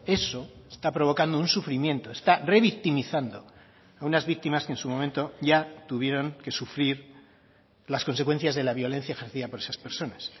eso está provocando un sufrimiento está revictimizando a unas víctimas que en su momento ya tuvieron que sufrir las consecuencias de la violencia ejercida por esas personas